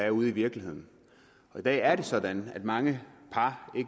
er ude i virkeligheden og i dag er det sådan at mange par